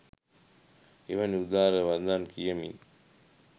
එවැනි උදාර වදන් කියමින්